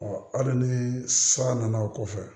hali ni san nana o kɔfɛ